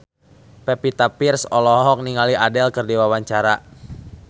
Pevita Pearce olohok ningali Adele keur diwawancara